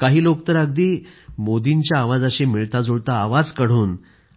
काही लोक तर अगदी मोदींच्या आवाजाशी मिळताजुळता आवाज काढून